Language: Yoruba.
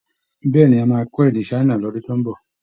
Bẹ́ẹ̀ ni, a máa kọ́ èdè China ní ọdún tó ń bọ